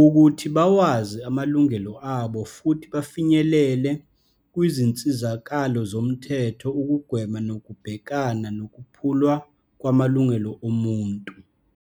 ukuthi bawazi amalungelo abo futhi bafinyelele kwizinsizakalo zomthetho ukugwema nokubhekana nokuphulwa kwamalungelo omuntu.